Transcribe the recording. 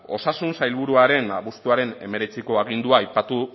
osasun sailburuaren abuztuaren hemeretziko agindua aipatu